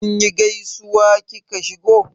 Kinyi gaisuwa da kika shigo?